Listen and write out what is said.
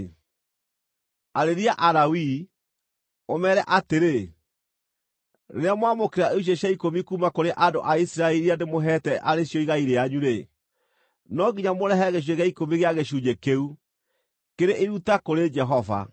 “Arĩria Alawii, ũmeere atĩrĩ: ‘Rĩrĩa mwamũkĩra icunjĩ cia ikũmi kuuma kũrĩ andũ a Isiraeli iria ndĩmũheete arĩ cio igai rĩanyu-rĩ, no nginya mũrehage gĩcunjĩ gĩa ikũmi gĩa gĩcunjĩ kĩu, kĩrĩ iruta kũrĩ Jehova.